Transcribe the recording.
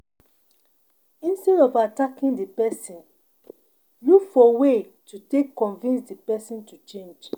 instead of attacking di person, look for way to take convince di person to change